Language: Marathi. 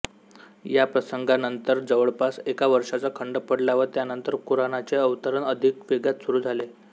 या प्रसंगानंतर जवळपास एका वर्षाचा खंड पडला व त्यानंतर कुराणाचे अवतरण अधिक वेगात सुरू झाले